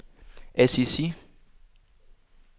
Assisi